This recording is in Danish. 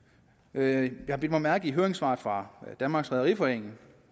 jeg har bidt mærke i høringssvaret fra danmarks rederiforening